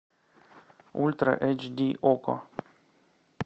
ультра эйч ди окко